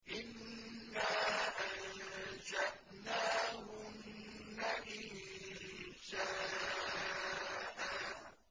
إِنَّا أَنشَأْنَاهُنَّ إِنشَاءً